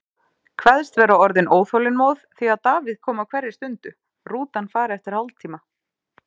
Kveðst vera orðin óþolinmóð því að Davíð komi á hverri stundu, rútan fari eftir hálftíma.